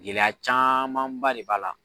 Gɛlɛya camanba de b'a la.